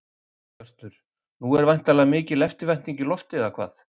Hjörtur, nú er væntanlega mikil eftirvænting í lofti, eða hvað?